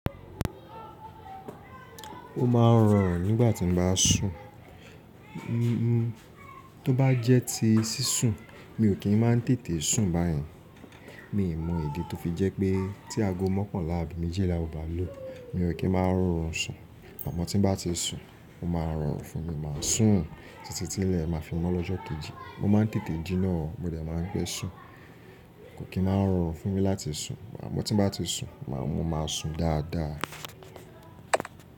Ó máa ń rọrùn nígbà tí mo bá sùn. Tó bá jẹ́ ti sísùn mi ò kí ń máa ń tètè sùn báyẹn. Mi ò mọ ìdí tó fi jẹ́ pé tí ago mọ́kanlà ábi méjìlàá ó bá lù. Mi ò kí ń máa ń rọrùn sùn. Àmó tí mo bá ti sùn, ó máa rọrùn fún mi máa sùn títí tí ilẹ̀ máa fi mọ́ lọ́jọ́ kejì. Mo máa ń tètè jinná, mo dẹ̀ máa ń pé sùn. Kò kí ń máa ń rọrùn fún mi láti sùn. Àmó tí mo bá ti sùn, mo máa sùn dáadáa.